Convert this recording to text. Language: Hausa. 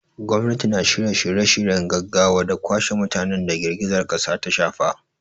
Gwamnati na shirya shirye-shiryen gaggawa da kwashe mutanen da girgizar kasar ta shafa.